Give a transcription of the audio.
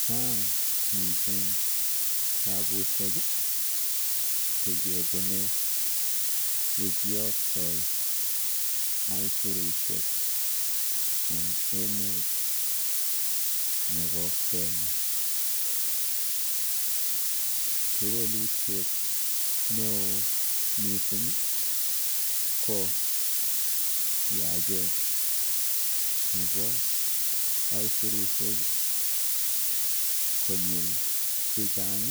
Chaang mising tapusiek chekipune yekiyoktoi aisirusiek eng emet nebo kenya. Kewelutiet neo mising ko yachet nebo aisirusiek konyil chechang